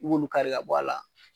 Ib'olu kari bɔ a la.